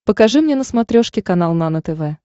покажи мне на смотрешке канал нано тв